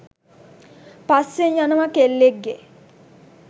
පස්සෙන් යනවා කෙල්ලෙක්ගේ